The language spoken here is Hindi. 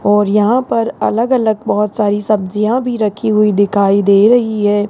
और यहां पर अलग अलग बहोत सारी सब्जियां भी रखी हुई दिखाई दे रही है।